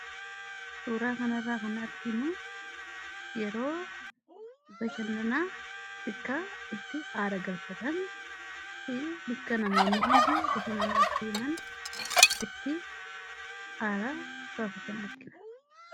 suuraa kanarraa kan arginu yeroo bashannanaa bakka itti aara galfatanii fi bakka namoonni hundi bashannanaaf itti deeman itti aara galfataniidha.